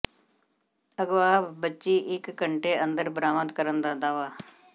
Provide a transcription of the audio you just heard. ਅਗਵਾ ਬੱਚੀ ਇੱਕ ਘੰਟੇ ਅੰਦਰ ਬਰਾਮਦ ਕਰਨ ਦਾ ਦਾਅਵਾ